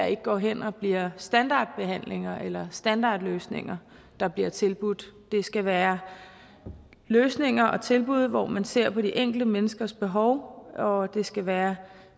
ikke går hen og bliver standardbehandlinger eller standardløsninger der bliver tilbudt det skal være løsninger og tilbud hvor man ser på det enkelte menneskes behov og det skal være